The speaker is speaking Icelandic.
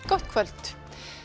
gott kvöld